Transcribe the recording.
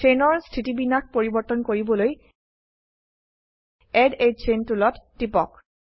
চেইনৰ স্থিতিবিন্যাস পৰিবৰ্তন কৰিবলৈ এড a চেইন টুলত টিপক